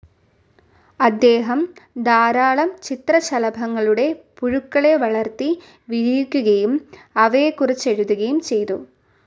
അദ്ദേഹം ധാരാളം ചിത്രശലഭങ്ങളുടെ പുഴുക്കളെ വളർത്തി വിരിയിക്കുകയും അവയെകുറിച്ചെഴുതുകയും ചെയ്തു.